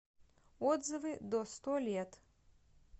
отзывы до сто лет